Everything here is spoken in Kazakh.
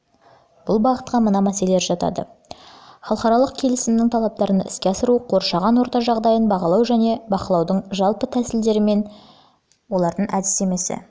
бұл бағытқа мына мәселелер жатады халықаралық келісімнің талаптарын іске асыру қоршаған орта жағдайын бағалау және бақылаудың жалпы тәсілдері мен әдістемесін